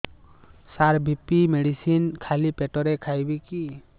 ସାର BP medicine ଖାଲି ପେଟରେ ଖାଇବି କି